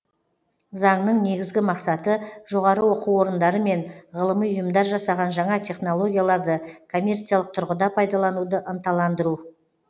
заңның негізгі мақсаты жоғары оқу орындары мен ғылыми ұйымдар жасаған жаңа технологияларды коммерциялық тұрғыда пайдалануды ынталандыру